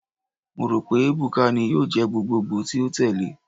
Mo ro pe Ebuka ni yoo jẹ gbogbogbo ti o tẹle